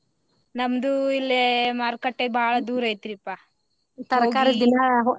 ನಮ್ದು ಇಲ್ಲೆ ಮಾರುಕಟ್ಟೆ ಬಾಳ ದೂರ ಐತ್ರೀಪಾ .